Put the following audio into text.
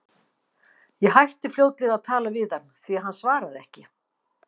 Ég hætti fljótlega að tala við hann, því hann svaraði ekki.